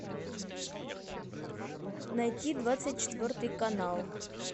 найти двадцать четвертый канал